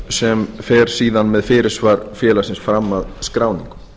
sem fer síðan með fyrirsvar félagsins fram að skráningu